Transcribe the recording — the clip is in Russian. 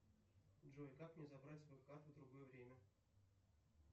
джой как мне забрать свою карту в другое время